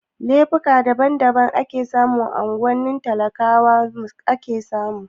Laifuka kala daban daban a cikin unguwannin talakawa ake samu